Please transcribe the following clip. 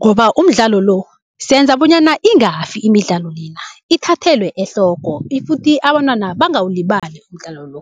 Ngoba umdlalo lo senza bonyana ingafi imidlalo lena, ithathelwe ehloko ifuthi abantwana bangawulibali umdlalo lo.